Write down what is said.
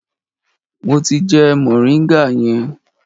Mo ti jẹ moringa yẹn.